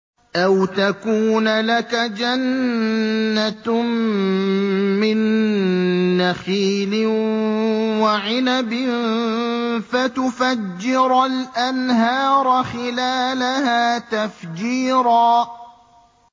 أَوْ تَكُونَ لَكَ جَنَّةٌ مِّن نَّخِيلٍ وَعِنَبٍ فَتُفَجِّرَ الْأَنْهَارَ خِلَالَهَا تَفْجِيرًا